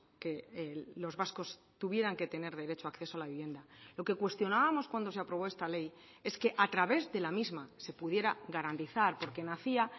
que los vascos tuvieran que tener derecho a acceso a la vivienda lo que cuestionábamos cuando se aprobó esta ley es que a través de la misma se pudiera garantizar porque nacía